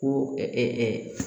Ko